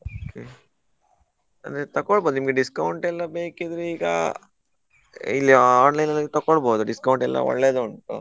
Okay. ಅಂದ್ರೆ ತೊಕೋಳ್ಬೋದು, ನಿಮ್ಗೆ discount ಎಲ್ಲಾ ಬೇಕಿದ್ರೆ ಈಗಾ ಇಲ್ಲಿ online ಅಲ್ಲಿ ತೊಕೋಳ್ಬೋದು discount ಎಲ್ಲಾ ಒಳ್ಳೆದುಂಟು.